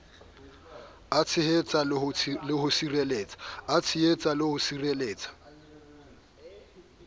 a tshehetsa le ho sireletsa